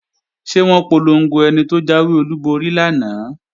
Ṣé wọ́n polongo ẹni tó jáwé olúborí lánàá?